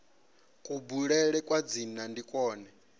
kubulele kwa dzina ndi kwone